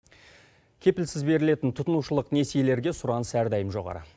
кепілсіз берілетін тұтынушылық несиелерге сұраныс әрдайым жоғары